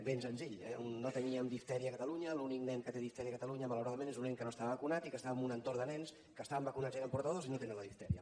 ben senzill no teníem diftèria a catalunya l’únic nen que té diftèria a catalunya malauradament és un nen que no estava vacunat i que estava en un entorn de nens que estaven vacunats n’eren portadors i no tenen la diftèria